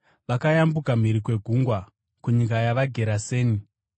Vakayambuka mhiri kwegungwa kunyika yavaGerase.